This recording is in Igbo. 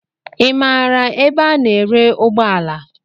Ị maara ebe a ná-ere ụgbọala?